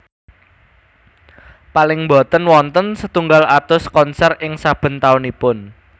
Paling boten wonten setunggal atus konsér ing saben taunipun